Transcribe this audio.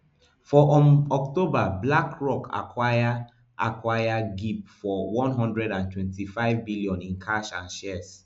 for um october blackrock acquire acquire gip for one hundred and twenty-five billion in cash and shares